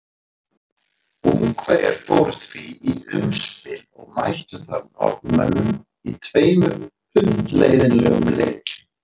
Ungverjar fóru því í umspil og mættu þar Norðmönnum í tveimur hundleiðinlegum leikjum.